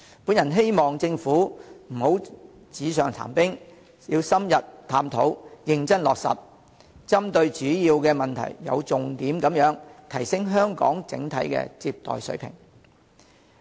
我希望政府不要紙上談兵，要深入探討，認真落實，針對主要問題，有重點地提升香港的整體接待水平。